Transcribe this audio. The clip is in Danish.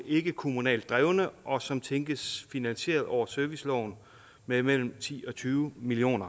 ikke er kommunalt drevne og som tænkes finansieret over serviceloven med mellem ti og tyve million